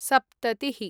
सप्ततिः